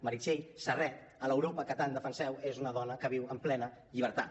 meritxell serret a l’europa que tant defenseu és una dona que viu en plena llibertat